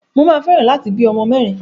Mà a fẹ́ràn láti bí ọmọ mẹ́rin.